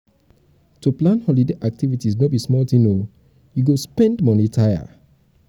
na my mama dey buy di ram wey wey we take celebrate eid.